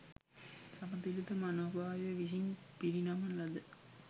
සමතුලිත මනෝභාවය විසින් පිරිනමන ලද